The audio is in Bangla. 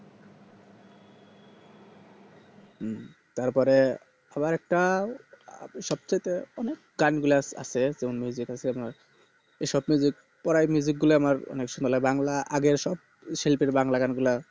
হু তারপরে আবার একটা সব থেকে অনেক গানগুলা আছে মানে যেটা হচ্ছে আপনার এই স্বপ্নে যে পরায় গুলা আছে বাংলা সব বাংলার যে আগের শিল্যেপ গুলা আছে বাংলা আগে সব বাংলা গান গুলো